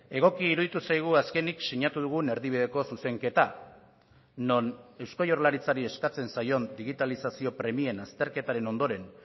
egoki iruditu zaigu azkenik sinatu dugun erdibideko zuzenketa non eusko jaurlaritzari eskatzen zaion digitalizazio premien azterketaren ondoren